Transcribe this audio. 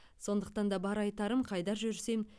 сондықтан да бар айтарым қайда жүрсем